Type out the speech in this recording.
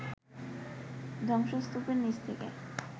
ধ্বংসস্তূপের নিচ থেকে